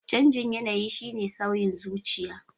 Canjin yanayi shine sauyin zuciya.